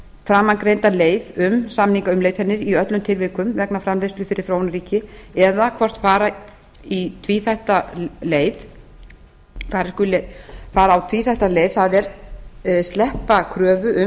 framangreinda leið um samningaumleitanir í öllum tilvikum vegna framleiðslu fyrir þróunarríki eða hvort fara eigi tvíþætta leið það er sleppa kröfu um